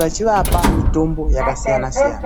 vachivapa mitombo yakasiyana siyana.